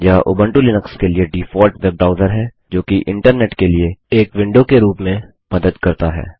यह Ubuntu Linux के लिए डिफाल्ट वेब ब्राउज़र है जोकि इन्टरनेट के लिए एक विंडो के रूप में मदद करता है